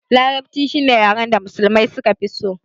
Larabci shine yaren da musulmai suka fi so